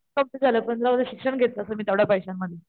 Complaint झालं पण जाऊदे शिक्षण घेतलं असत मी तेवढ्या पैश्या मध्ये.